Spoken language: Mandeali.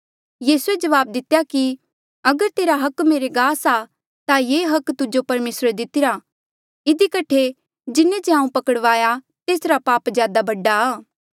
यीसूए जवाब दितेया कि अगर तेरा हक मेरे गास आ ता ये हक तुजो परमेसरे दितिरा इधी कठे जिन्हें जे हांऊँ पकड़वाया तेसरा पाप ज्यादा बडा आ